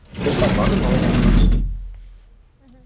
сондықтан бар да мына мамандыққа түс дейді мхм